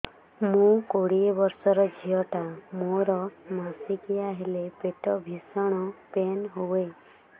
ମୁ କୋଡ଼ିଏ ବର୍ଷର ଝିଅ ଟା ମୋର ମାସିକିଆ ହେଲେ ପେଟ ଭୀଷଣ ପେନ ହୁଏ